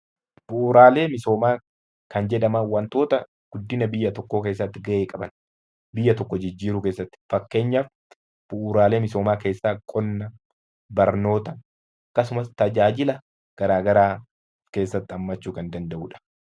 Bu'uuraalee misoomaa kan jedhaman wantoota guddina biyya tokkoo keessatti beekaman biyya tokko jijjiiruu keessatti fakkeenyaaf bu'uuraalee misoomaa keessaa qonna, barnoota akkasumas tajaajila garaagaraa of keessatti hammachuu kan danda'udha.